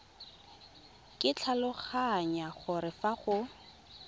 ke tlhaloganya gore fa go